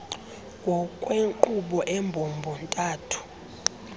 ngokwenkqubo embombo ntathu